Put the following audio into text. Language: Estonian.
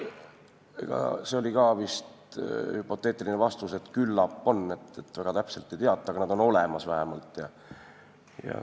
See oli ka vist hüpoteetiline vastus, et küllap on, väga täpselt ei teata, aga nad on vähemalt olemas.